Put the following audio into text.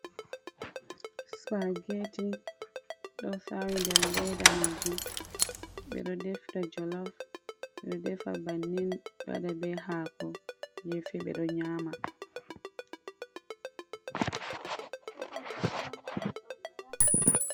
Spageti ɗo sawi nder leda majum ɓe ɗo defida jolof. Ɓe ɗo defa bannin, ɓe waɗa be hako gefe ɓe ɗo nyama.